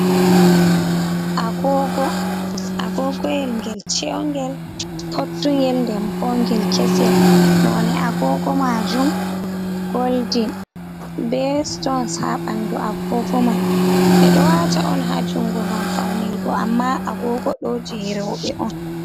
Agogo, agogoyel ngel cheungel pottungel nden bo ngel keesel, none agogo majum goldin be sutons ha ɓandu agogo man, ɓe ɗo waata on ha jungo ngam faunirgo amma agogo ɗo je rewɓe on.